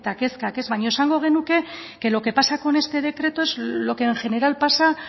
kezkak baino esango genuke que lo que pasa con este decreto es lo que en general pasa